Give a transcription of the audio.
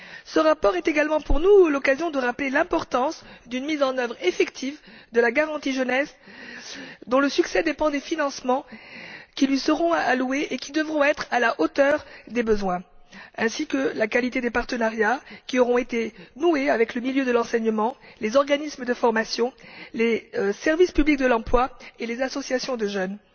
Ce rapport est également pour nous l'occasion de rappeler l'importance d'une mise en œuvre effective de la garantie Jeunesse, dont le succès dépend des financements qui lui seront alloués et qui devront être à la hauteur des besoins, ainsi que de la qualité des partenariats qui auront été noués avec le milieu de l'enseignement, les organismes de formation, les services publics de l'emploi et les associations de jeunes.